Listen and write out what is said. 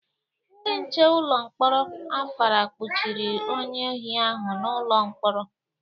Ndị nche ụlọ mkpọrọ Afara kpọchiri onye ohi ahu n'ụlọ mkpọrọ.